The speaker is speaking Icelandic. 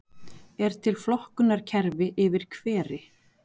er til flokkunarkerfi yfir hveri